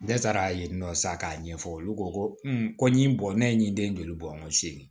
Ne taara yen nɔ sa k'a ɲɛfɔ olu ko ko ko ɲi bɔ ne ye nin den joli bɔ seegin